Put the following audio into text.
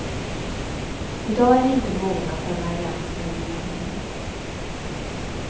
I dag är de inte mogna för en allians med regeringen.